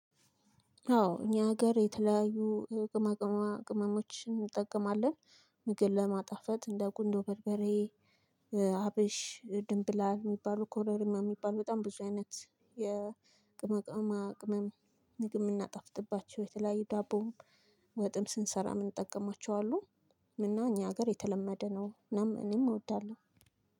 አዎ እኛ ሀገር የተለያዩ ቅመማ ቅመሞችን እንጠቀማለን። ምግብ ለማጣፈጥ እንደ ቁንዶ በርበሬ አብሽ ድንብላል የሚባሉ ኮረሪማ የሚባሉ በጣም ብዙ አይነት የቅመማ ቅመም ምግብ የምናጣፍጥባቸው የተለያየ ዳቦም ወጥም ስንሰራ ምንጠቀማቸው አሉ እና እኛ ሀገር የተለመደ ነው። እናም እኔም እወዳለሁ።